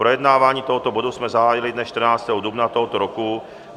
Projednávání tohoto bodu jsme zahájili dne 14. dubna tohoto roku.